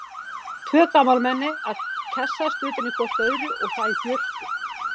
Tvö gamalmenni að kjassast utan í hvort öðru- og það í björtu!